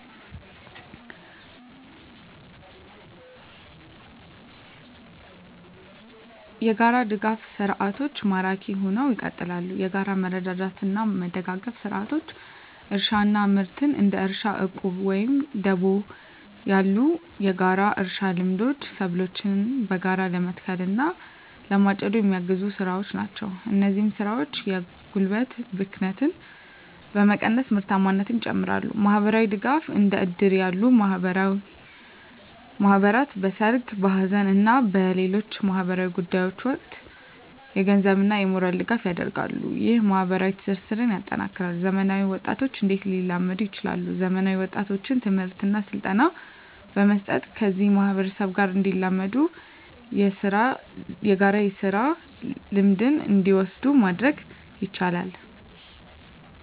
**የጋራ ድጋፍ ሰርዓቶች ማራኪ ሁነው ይቀጥላሉ፤ የጋራ መረዳዳትና መደጋገፍ ስርዓቶች: * እርሻና ምርት: እንደ እርሻ ዕቁብ ወይም ደቦ ያሉ የጋራ እርሻ ልምዶች ሰብሎችን በጋራ ለመትከል እና ለማጨድ የሚያግዙ ስራዎች ናቸው። እነዚህ ስራዎች የጉልበት ብክነትን በመቀነስ ምርታማነትን ይጨምራሉ። * ማህበራዊ ድጋፍ: እንደ እድር ያሉ ባህላዊ ማህበራት በሠርግ፣ በሐዘን እና በሌሎች ማኅበራዊ ጉዳዮች ወቅት የገንዘብና የሞራል ድጋፍ ያደርጋሉ። ይህ ማኅበራዊ ትስስርን ያጠናክራል። *ዘመናዊ ወጣቶች እንዴት ሊላመዱ ይችላሉ፤ ዘመናዊ ወጣቶችን ትምህርትና ስልጠና በመስጠት ከዚህ ማህበረሰብ ጋር እንዲላመዱና የጋራ ስራ ልምድን እንዲወስዱ ማድረግ ይቻላል።